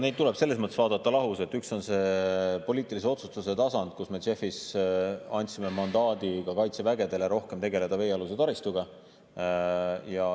Neid tuleb selles mõttes vaadata lahus, et üks on poliitilise otsustuse tasand, kus me JEF‑is andsime mandaadi ka kaitsevägedele rohkem tegeleda veealuse taristuga.